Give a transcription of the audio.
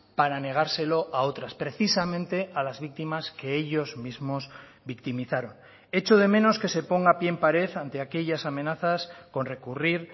para negárselo a otras precisamente a las víctimas que ellos mismos victimizaron echo de menos que se ponga pie en pared ante aquellas amenazas con recurrir